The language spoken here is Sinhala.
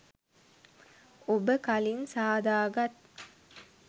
ඔබ කලින් සාදාගත්